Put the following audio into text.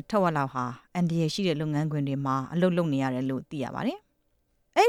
ထက်ဝက်လောက်ဟာ အန္တရာယ်ရှိတဲ့ လုပ်ငန်းခွင်တွေမှာ အလုပ်လုပ်နေရတယ်လို့သိရ ပါတယ်။ အဲ